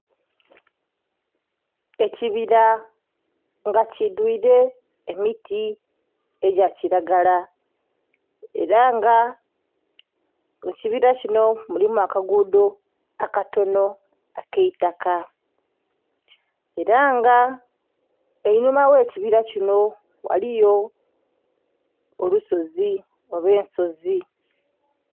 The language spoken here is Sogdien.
Ekibira nga kidhuire emiti egya kilagala era nga mu kibira kinho mulimu akagudho akatonho akeitaka era nga einhuma ghe kibira kinho ghaliyo olusozi oba ensozi.